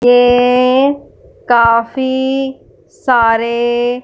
ये काफी सारे--